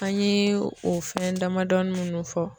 An ye o fɛn damadɔni munnu fɔ.